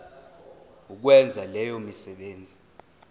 ukwenza leyo misebenzi